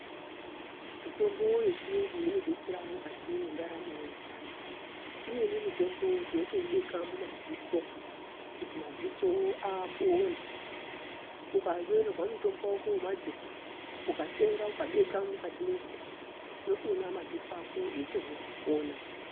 Mitombo yechiyungu inodetsera mukati mwendaramo yevantu imweni mitombo tinotoibeka mumadziso kuti madziso apone ukanyorerwa mutombo wako wemadziso ukatenga ukabeka mukati mwrdziso unotoona madziso ako eitopona.